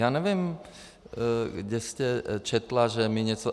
Já nevím, kde jste četla, že my něco...